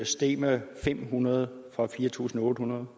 steg med fem hundrede fra fire tusind otte hundrede